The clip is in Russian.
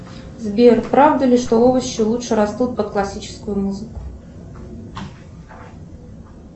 сбер правда ли что овощи лучше растут под классическую музыку